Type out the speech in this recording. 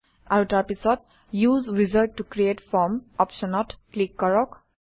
আৰু তাৰপিছত use wizard ত ক্ৰিএট ফৰ্ম অপশ্যনত ক্লিক কৰক